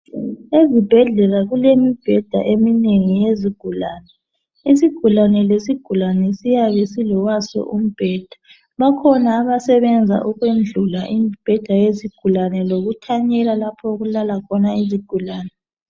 Ezibhedlela kulemibheda eminengi yezigulane. Isigulane lesigulane siyabe silowaso umbheda. Bakhona abasebenza ukwendlula imibheda yezigulane lokuthanyela lapho okulala khona izigulane.